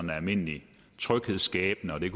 er almindelig tryghedsskabende det